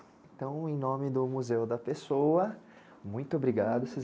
Então, em nome do Museu da Pessoa, muito obrigado,